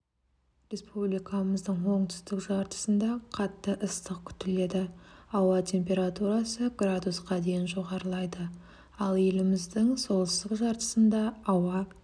республикамыздың оңтүстік жартысында қатты ыстық күтіледі ауа температурасы градусқа дейін жоғарылайды ал еліміздің солтүстік жартысында ауа